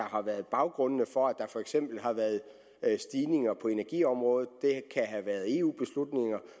har været baggrundene for at der for eksempel har været stigninger på energiområdet det have været eu beslutninger